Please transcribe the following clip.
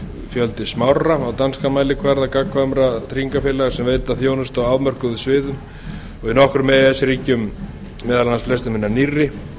fjöldi smárra á danskan mælikvarða gagnkvæmra vátryggingafélaga sem veita þjónustu á afmörkuðum sviðum í nokkrum e e s ríkjum meðal annars flestum hinna nýrri